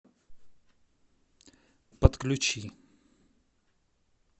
подключи